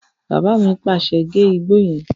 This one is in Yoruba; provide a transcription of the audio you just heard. Bàbá mi pàṣẹ, "gé igbó yẹn!"